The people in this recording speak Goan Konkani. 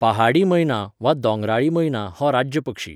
पहाडी मैना, वा दोंगराळी मैना हो राज्य पक्षी.